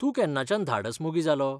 तूं केन्नाच्यान धाडस मोगी जालो?